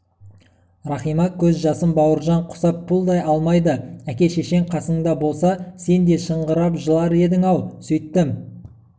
рахима көз жасын бауыржан құсап пұлдай алмайды әке-шешең қасыңда болса сен де шыңғырып жылар едің-ау сөйттім